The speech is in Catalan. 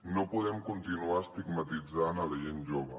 no podem continuar estigmatitzant la gent jove